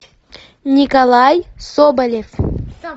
николай соболев